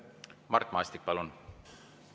Mart Maastik, palun!